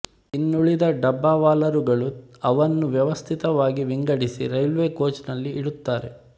ಇನ್ನುಳಿದ ಡಬ್ಬಾವಾಲರುಗಳು ಅವನ್ನು ವ್ಯವಸ್ಥಿತವಾಗಿ ವಿಂಗಡಿಸಿ ರೈಲ್ವೆ ಕೋಚ್ ನಲ್ಲಿ ಇಡುತ್ತಾರೆ